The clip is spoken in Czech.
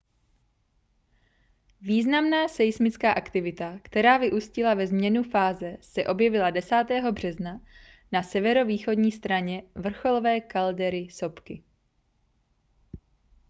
významná seismická aktivita která vyústila ve změnu fáze se objevila 10. března na severovýchodní straně vrcholové kaldery sopky